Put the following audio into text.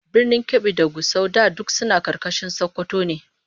Birnin Kebbi da Gusau da duk suna karkashin Sokoto ne